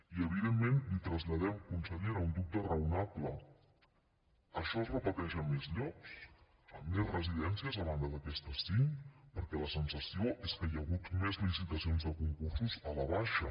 i evidentment li traslladem consellera un dubte raonable això es repeteix a més llocs en més residències a banda de en aquestes cinc perquè la sensació és que hi ha hagut més licitacions de concursos a la baixa